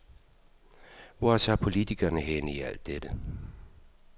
Hvor er så politikerne henne i alt dette?